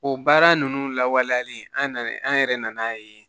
O baara ninnu lawaleyalen an nanen an yɛrɛ nan'a ye